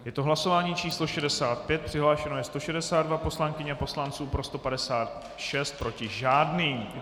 Je to hlasování číslo 65, přihlášeno je 162 poslankyň a poslanců, pro 156, proti žádný.